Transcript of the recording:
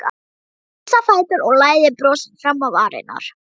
Hann rís á fætur og læðir brosi fram á varirnar.